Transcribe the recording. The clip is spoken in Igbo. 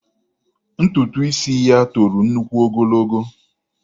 Ntutu isi ya toro nnukwu ogologo.